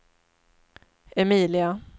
Emilia